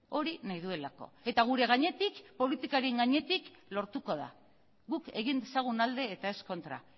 hori nahi duelako eta gure gainetik politikaren gainetik lortuko da guk egin dezagun alde eta ez kontra